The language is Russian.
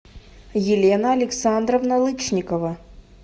елена александровна лычникова